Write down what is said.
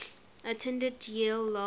attended yale law